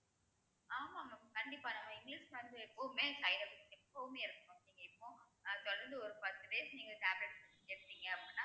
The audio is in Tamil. ஆமா mam கண்டிப்பா நம்ம இங்கிலிஷ் மருந்து எப்பவுமே side effects இருக்கு எப்பவுமே இருக்கும் நீங்க இப்போ தொடர்ந்து ஒரு பத்து days நீங்க tablets எடுத்தீங்க அப்படின்னா